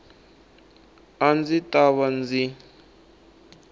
a ndzi ta va ndzi